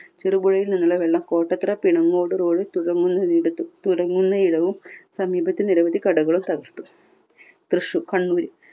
ചെറുപുഴയിൽ നിന്നുള്ള വെള്ളം കോട്ടത്തറ പിണങ്ങോട് road തുടങ്ങുന്ന ഇടത്തും തുടങ്ങുന്ന ഇടവും സമീപത്തെ നിരവധി കടകളും തകർത്തു. തൃശൂ കണ്ണൂര്